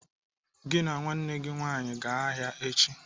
"Gị na nwanne gị nwaanyị gaa ahịa echi!